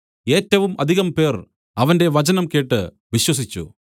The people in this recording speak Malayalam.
ഏറ്റവും അധികംപേർ അവന്റെ വചനം കേട്ട് വിശ്വസിച്ചു